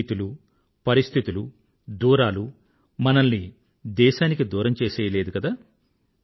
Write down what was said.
స్థితులు పరిస్థితులు దూరాలూ మనల్ని దేశానికి దూరం చేసెయ్యలేదు కదా